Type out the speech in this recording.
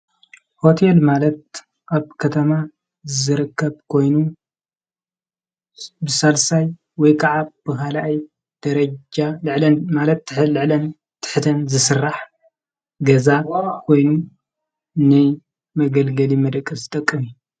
ሆቴል ማለት ኣብ ከተማ ዝርከብ ኮይኑ ብሳልሳይ ወይከዓ ብኻልኣይ ደረጃ ልዕሊኡን ማለት ልዕልን ትሕተን ዝስራሕ ገዛ ኮይኑ ናይ መገልገሊ መደቀሲ ዝጠቕም እዩ።